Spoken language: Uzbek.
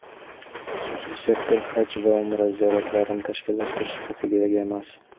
xususiy sektor Haj va Umra ziyoratlarini tashkillashtirish huquqiga ega emas.